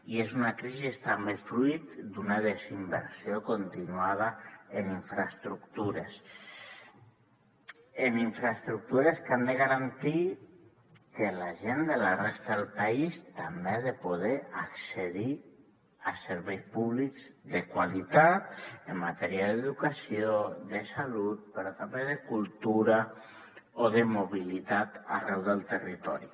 i és una crisi també fruit d’una desinversió continuada en infraestructures en infraestructures que han de garantir que la gent de la resta del país també ha de poder accedir a serveis públics de qualitat en matèria d’educació de salut però també de cultura o de mobilitat arreu del territori